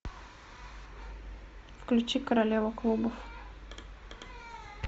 включи королева клубов